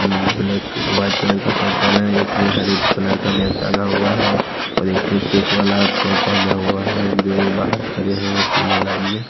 मम black white colour का shirt पहना है एक ने हरे कलर का बैग टांगा हुआ है और एक ने चेक वाला शर्ट पहना हुआ है जो बाहर खड़े हैं तीनों लाइन में --